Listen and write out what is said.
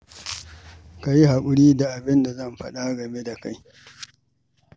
Ka yi haƙuri da abin da zan faɗa game da kai.